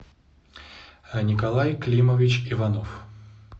николай климович иванов